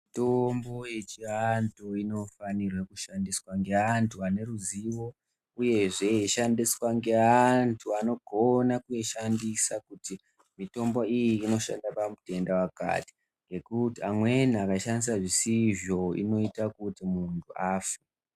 Mitombo yechiantu inofanire kushandiswe ngeantu aneruzivo, uyehe yeishandiswa ngeantu anogona kuishandisa kuti mitombo iyi inoshanda pamutenda wakati, ngekuti amweni akaishandisa zvisizvo inoita kuti muntu afe.